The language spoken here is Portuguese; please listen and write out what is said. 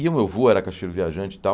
E o meu vô era cacheiro viajante e tal,